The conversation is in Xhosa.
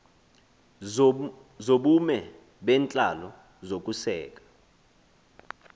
zobume bentlalo zokuseka